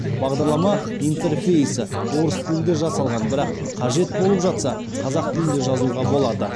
бағдарлама интерфейсі орыс тілінде жасалған бірақ қажет болып жатса қазақ тілінде жазуға болады